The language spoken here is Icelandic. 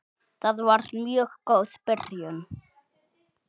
Það var mjög góð byrjun.